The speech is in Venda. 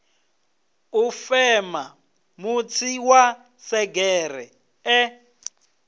u fema mutsi wa segereṱe